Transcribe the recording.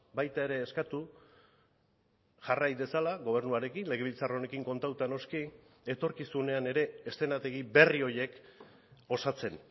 baita ere eskatu jarrai dezala gobernuarekin legebiltzar honekin kontatuta noski etorkizunean ere eszenategi berri horiek osatzen